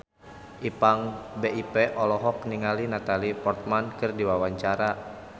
Ipank BIP olohok ningali Natalie Portman keur diwawancara